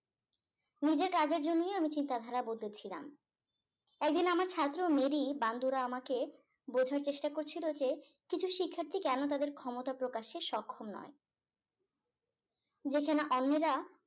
নিজের কাজের জন্য আমি চিন্তা ধারা বদলেছিলাম একদিন আমার ছাত্র মেরি বান্দুরা আমাকে বোঝার চেষ্টা করছিল যে কিছু শিক্ষার্থী কেন তাদের ক্ষমতা প্রকাশে সক্ষম নয় যেখানে অন্যেরা